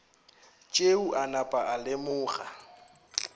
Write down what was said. tšeo a napa a lemoga